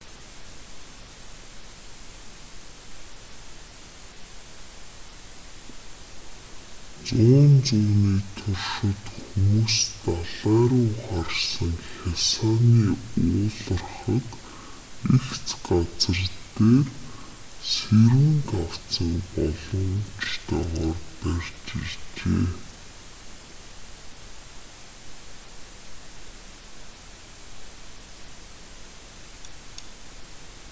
зуун зууны туршид хүмүүс далай руу харсан хясааны уулархаг эгц газар дээр сэрүүн тавцанг болгоомжтойгоор барьж иржээ